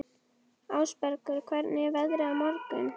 Ásbergur, hvernig er veðrið á morgun?